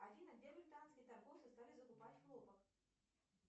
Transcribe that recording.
афина где британские торговцы стали закупать хлопок